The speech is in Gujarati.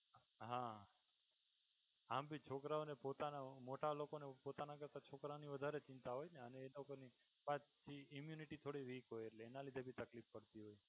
હાં આમ ભી છોકરાઓને પોતાના મોટા લોકોને પોતાના કરતાં છોકરાઓની વધારે ચિંતા હોય ને એ લોકોની પાછી immunity થોડી weak હોય એટલે એના લીધે ભી તકલીફ પડતી હોય.